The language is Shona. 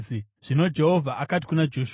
Zvino Jehovha akati kuna Joshua,